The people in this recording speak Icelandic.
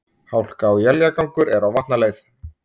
Hálka og éljagangur er á Vatnaleið